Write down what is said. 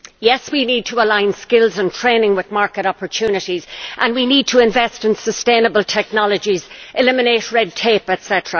Yes, we need to align skills and training with market opportunities and we need to invest in sustainable technologies, eliminate red tape, etc.